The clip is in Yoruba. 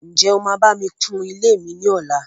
Ǹjẹ́ o máa bá mi kun ilé mi ní ọlá?